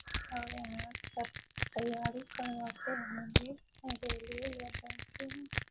और यहाँ सब तैयारी करवाते होंगे रेलवे या बैंकिंग ।